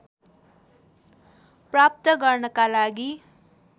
प्राप्त गर्नका लागि